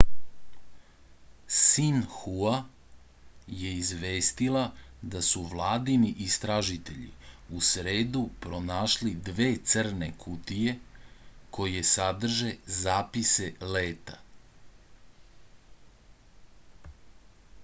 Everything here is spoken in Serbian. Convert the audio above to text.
sinhua je izvestila da su vladini istražitelji u sredu pronašli dve crne kutije koje sadrže zapise leta